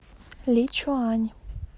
личуань